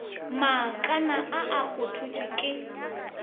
maakana a a kgothotšwego ke